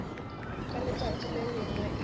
ka letšatši le lengwe e